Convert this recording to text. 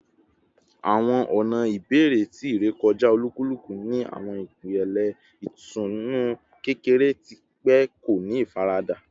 Awọn ọna ibẹrẹ ti irekọja olukuluku ni awọn ipele itunu kekere ati pe ko ni ifarada